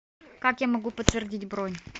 как я могу подтвердить бронь